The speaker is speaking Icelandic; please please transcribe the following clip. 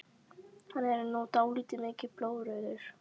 Hann er nú dálítið mikið blóðrauður!